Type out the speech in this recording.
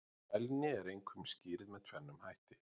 Fælni er einkum skýrð með tvennum hætti.